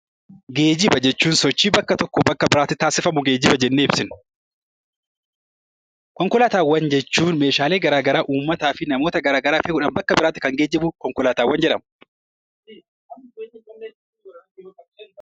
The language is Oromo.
Geejiba jechuun sochii bakka tokkoo bakka biraatti taasifamu geejiba jennee ibsina. Konkolaataawwan jechuun meeshaa garaagaraa uummata fi namoota garaagaraa fi bakka garaagaraa kan geejibu konkolaataawwan jedhamu.